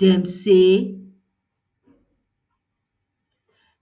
dem say